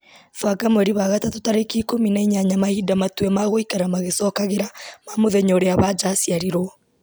banga mweri wa gatatũ tarĩki ikũmi na inyanya mahinda matue magũikara magĩcokagĩra ma mũthenya ũrĩa wanja aciarirwo